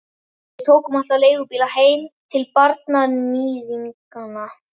Við tókum alltaf leigubíla heim til barnaníðinganna.